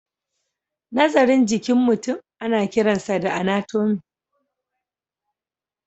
Nazarin jikin mutum ana kiransa da anatomy.